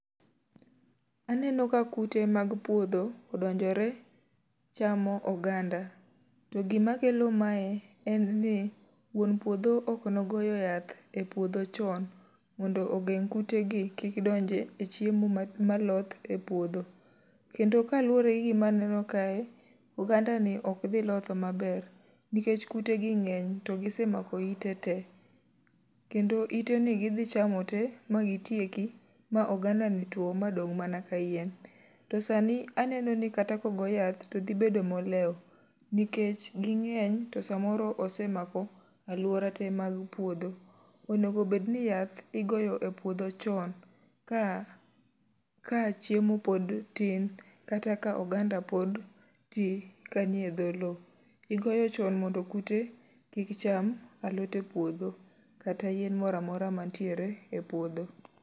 Aneno ka kute mag puodho, odonjore chamo oganda. To gima kelo mae en ni, wuon puodho ok nogoyo yath e puodho chon mondo ogeng' kute gi kik donj e chiemo maloth e puodho. Kendo ka luwore gi gima aneno kae, oganda ni ok dhi loth maber. Nikech kutegi ngény, to gisemako ite te. Kendo ite ni gidhi chamo te, ma gitieki ma oganda ni two, madong' mana ka yien. To sani aneno ni kata ka ogo yath, to dhi bedo moleo. Nikech gingény to sa moro osemako alwora te mar puodho. Onego bed ni yath igoyo e puodho chon ka, ka chiemo pod tin. Kata ka oganda pod ti ka nie dho lowo. Igoyo chon mondo kute kik cham alot e puodho kata yien mora mora mantiere e puodho.